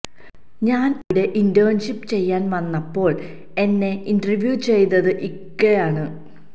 ഞാൻ അവിടെ ഇന്റേൺഷിപ്പ് ചെയ്യാൻ വന്നപ്പോൾ എന്നെ ഇന്റർവ്യു ചെയ്തത് ഇക്കയാണ്